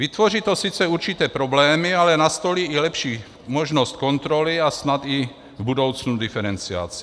Vytvoří to sice určité problémy, ale nastolí i lepší možnost kontroly a snad i v budoucnu diferenciaci.